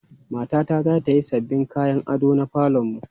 Matata za ta yi sabbin kayan ado na falon mu.